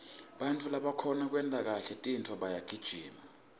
bantfu labakhona kwenta kahle tintfo bayagijima